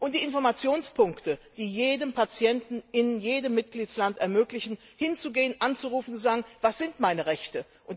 Die Informationspunkte, die es jedem Patienten in jedem Mitgliedstaat ermöglichen, hinzugehen, anzurufen und zu fragen Was sind meine Rechte?